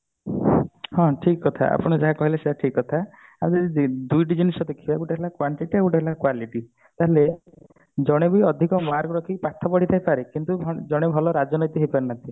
ହଁ ଠିକ କଥା ଆପଣ ଯାହା କହିଲେ ସେଟା ଠିକ କଥା ଦୁଇଟା ଜିନିଷ ଦେଖିବା ଗୋଟେ ହେଲା quantity ଆଉ ଗୋଟେ ହେଲା quality ହେଲେ ଜଣେ ବି ଅଧିକ mark ରଖି ପାଠ ପଢି ଥାଇ ପାରେ କିନ୍ତୁ ଜଣେ ହଁ ଭଲ ରାଜନୀତି ହେଇ ପାରି ନଥିବ